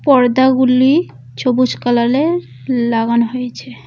পর্দাগুলি সবুজ কালালের লাগানো হয়েছে।